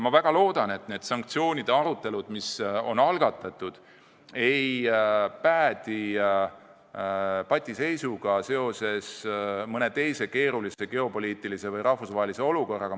Ma väga loodan, et need sanktsioonide arutelud, mis on algatatud, ei päädi patiseisuga seoses mõne teise keerulise geopoliitilise või rahvusvahelise olukorraga.